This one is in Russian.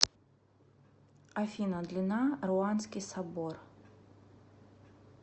афина длина руанский собор